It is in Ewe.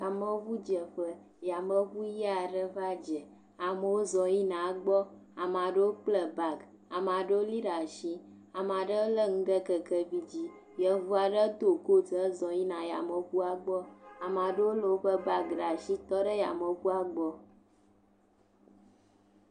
yameʋu dzeƒe yameʋu ɣiaɖe va dze amewo zɔ yina egbɔ amaɖewo kple bag amaɖewo li ɖa'si amaɖe le ŋu ɖe kekevi dzi yevuaɖe dó kot he zɔ yina yameʋua gbɔ amaɖewo le bag ɖa'si tɔɖe yameʋua gbɔ